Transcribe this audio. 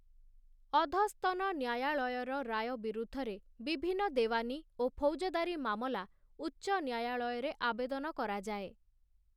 ଅଧସ୍ତନ ନ୍ୟାୟାଳୟର ରାୟ ବିରୁଦ୍ଧରେ ବିଭିନ୍ନ ଦେୱାନୀ ଓ ଫୌଜଦାରୀ ମାମଲା ଉଚ୍ଚ ନ୍ୟାୟଳୟରେ ଆବେଦନ କରାଯାଏ ।